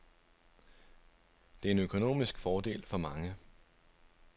Det er en økonomisk fordel for mange.